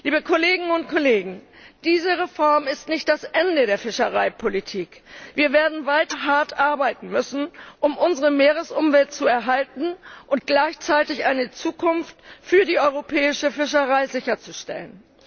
Liebe Kolleginnen und Kollegen, diese Reform ist nicht das Ende der Fischereipolitik. Wir werden weiter hart arbeiten müssen, um unsere Meeresumwelt zu erhalten und gleichzeitig eine Zukunft für die europäische Fischerei sicherzustellen.